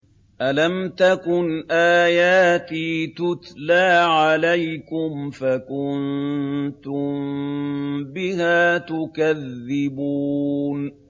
أَلَمْ تَكُنْ آيَاتِي تُتْلَىٰ عَلَيْكُمْ فَكُنتُم بِهَا تُكَذِّبُونَ